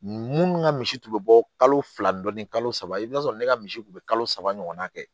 Munnu ka misi tun bɛ bɔ kalo fila dɔɔni kalo saba i bɛ t'a sɔrɔ ne ka misi tun bɛ kalo saba ɲɔgɔnna kɛ